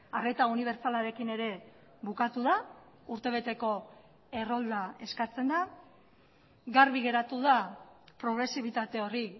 arreta unibertsalarekin ere bukatu da urtebeteko errolda eskatzen da garbi geratu da progresibitate hori